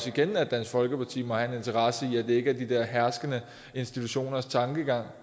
igen at dansk folkeparti må have en interesse i at det ikke er de der herskende institutioners tankegang